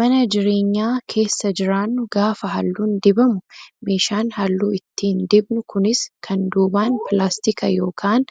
Mana jireenyaa keessa jiraannu gaafa halluun dibamu meeshaan halluu ittiin dibnu kunis kan duubaan pilaastika yookaan